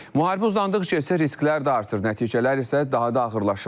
Müharibə uzandıqca isə risklər də artır, nəticələr isə daha da ağırlaşır.